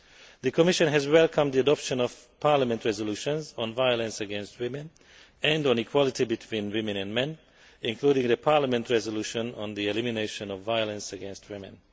The Commission has welcomed the adoption of Parliament resolutions on violence against women and on equality between women and men, including the Parliament resolution on the elimination of violence against women.